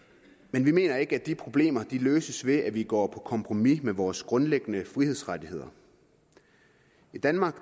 men vi mener ikke at de problemer løses ved at vi går på kompromis med vores grundlæggende frihedsrettigheder i danmark